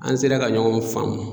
An sera ka ɲɔgɔn faamu.